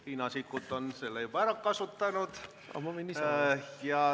Riina Sikkut on selle juba ära kasutanud.